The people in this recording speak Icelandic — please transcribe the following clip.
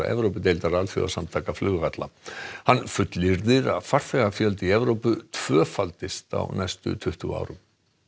Evrópudeildar alþjóðasamtaka flugvalla hann fullyrðir að farþegafjöldi í Evrópu tvöfaldist á næstu tuttugu árum